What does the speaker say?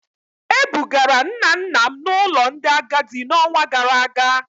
E bugara nna nna m n'ụlọ ndị agadi n'ọnwa gara aga